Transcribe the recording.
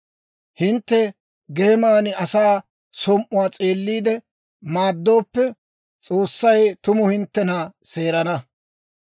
Hintte geeman asaa som"uwaa s'eelliide maaddooppe, S'oossay tumu hinttena seerana.